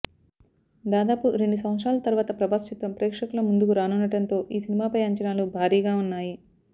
దాదాపు రెండు సంవత్సరాల తర్వాత ప్రభాస్ చిత్రం ప్రేక్షకుల ముందుకు రానుండడంతో ఈ సినిమాపై అంచనాలు భారీగా ఉన్నాయి